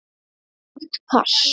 Þungt pass.